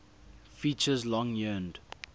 features long yearned